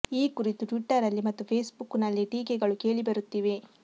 ಈ ಕುರಿತು ಟ್ವಿಟ್ಟರಲ್ಲಿ ಮತ್ತು ಫೇಸ್ ಬುಕ್ ನಲ್ಲಿ ಟೀಕೆಗಳು ಕೇಳಿಬರುತ್ತಿವೆ